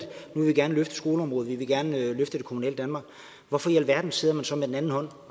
nu vil vi gerne løfte skoleområdet vi vil gerne løfte det kommunale danmark hvorfor i alverden sidder man så med den anden hånd